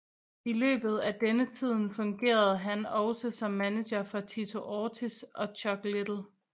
I løbet af denne tiden fungerede han også som manager for Tito Ortiz og Chuck Liddell